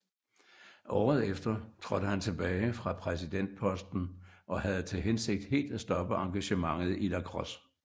Året efter trådte han tilbage fra præsidentposten og havde til hensigt helt at stoppe engagementet i lacrosse